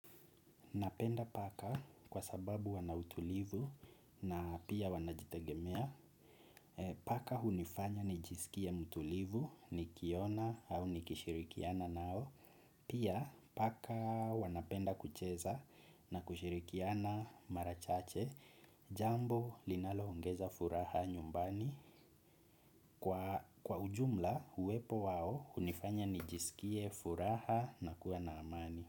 Napenda paka kwa sababu wanautulivu na pia wanajitegemea. Paka hunifanya nijisikie mtulivu nikiiona au nikishirikiana nao. Pia paka wanapenda kucheza na kushirikiana mara chache, jambo linaloongeza furaha nyumbani. Kwa ujumla uwepo wao hunifanya nijisikie furaha na kuwa na amani.